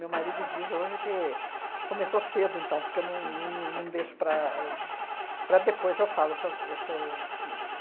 Meu marido diz hoje que que começou cedo, então, porque eu não não não deixo para para depois eu falo o que eu é que eu sinto.